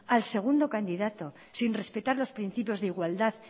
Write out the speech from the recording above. al segundo candidato sin respetar los principios de igualdad